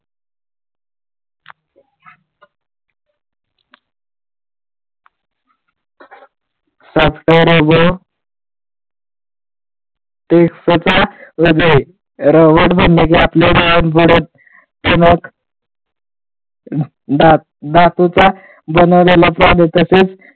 ती स्वतः